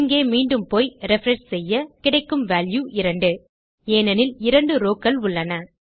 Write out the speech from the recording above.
இங்கே மீண்டும் போய் ரிஃப்ரெஷ் செய்ய கிடைக்கும் வால்யூ 2 ஏனெனில் 2 rowகள் உள்ளன